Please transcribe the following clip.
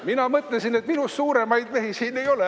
Mina mõtlesin, et minust suuremaid mehi siin ei ole.